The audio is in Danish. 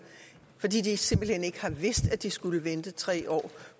fordi de simpelt hen ikke har vidst at de skulle vente tre år